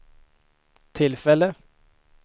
tillfälle